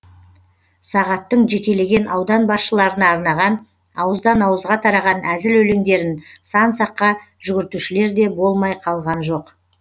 сағаттың жекелеген аудан басшыларына арнаған ауыздан ауызға тараған әзіл өлеңдерін сан саққа жүгіртушілер де болмай қалған жоқ